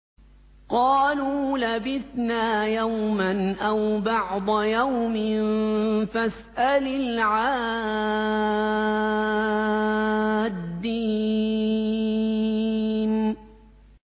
قَالُوا لَبِثْنَا يَوْمًا أَوْ بَعْضَ يَوْمٍ فَاسْأَلِ الْعَادِّينَ